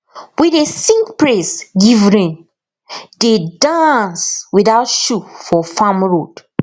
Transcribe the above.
we dey sing praise give rain dey dance without shoe for farm road